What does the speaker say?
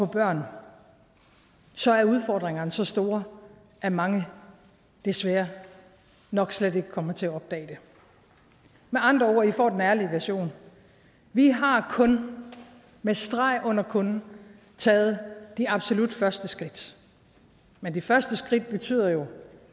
børn så er udfordringerne så store at mange desværre nok slet ikke kommer til at opdage det med andre ord i får den ærlige version vi har kun med streg under kun taget de absolut første skridt men de første skridt betyder jo